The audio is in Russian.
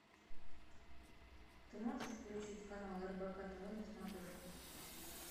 ты можешь включить канал рбк тв на смотрешке